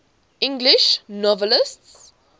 english novelists